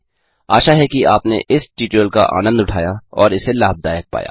आशा है कि आपने इस ट्यूटोरियल का आनन्द उठाया और इसे लाभदायक पाया